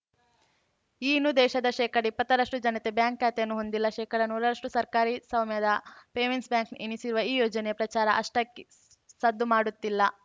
ಈ ಇನ್ನೂ ದೇಶದ ಶೇಕಡಇಪ್ಪತ್ತರಷ್ಟುಜನತೆ ಬ್ಯಾಂಕ್‌ ಖಾತೆಯನ್ನು ಹೊಂದಿಲ್ಲ ಶೇಕಡನೂರರಷ್ಟುಸರ್ಕಾರಿ ಸ್ವಾಮ್ಯದ ಪೇಮೆಂಟ್ಸ್‌ ಬ್ಯಾಂಕ್‌ ಎನಿಸಿರುವ ಈ ಯೋಜನೆ ಪ್ರಚಾರವು ಅಷ್ಟಾಗಿ ಸದ್ದು ಮಾಡುತ್ತಿಲ್ಲ